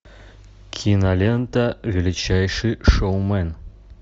кинолента величайший шоумен